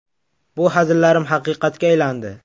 Bu hazillarim haqiqatga aylandi”.